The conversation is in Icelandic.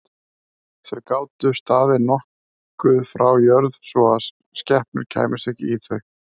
Þau gátu staðið nokkuð frá jörð svo að skepnur kæmust ekki í þau.